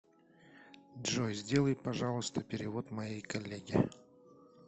джой сделай пожалуйста перевод моей коллеге